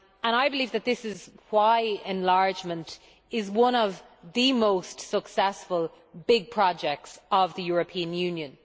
I believe this is why enlargement is one of the most successful big projects of the European Union.